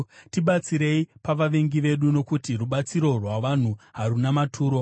Tibatsirei pavavengi vedu, nokuti rubatsiro rwavanhu haruna maturo.